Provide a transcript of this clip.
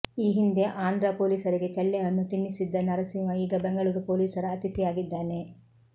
ಈ ಹಿಂದೆ ಆಂಧ್ರ ಪೊಲೀಸರಿಗೆ ಚಳ್ಳೆಹಣ್ಣು ತಿನ್ನಿಸಿದ್ದ ನರಸಿಂಹ ಈಗ ಬೆಂಗಳೂರು ಪೊಲೀಸರ ಅತಿಥಿಯಾಗಿದ್ದಾನೆ